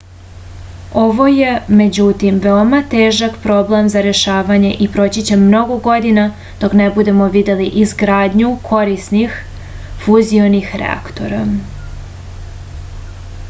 ovo je međutim veoma težak problem za rešavanje i proći će mnogo godina dok ne budemo videli izgradnju korisnih fuzionih reaktora